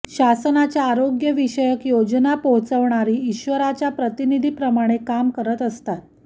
शासनाच्या आरोग्य विषयक योजना पोहचवणारी ईश्वराच्या प्रतिनिधीप्रमाणे काम करत असतात